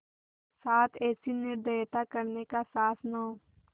साथ ऐसी निर्दयता करने का साहस न हो